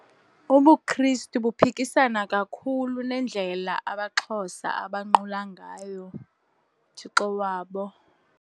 UbuKristu buphukisana kakhulu nendlela amaXhosa abanqula ngayo uThixo wabo.